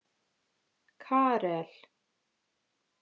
Karel